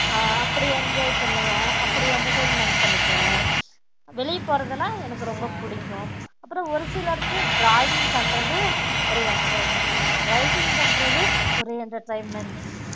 அஹ் அப்படி enjoy பண்ணுவன் அப்படி entertainment பண்ணிகுவ வெளிய போறதுலாம் எனக்கு ரொம்ப புடிக்கும் அப்பறம் ஒரு சிலர்க்கு drawing பண்றது ஒரு entertainment writing பண்றது ஒரு entertainment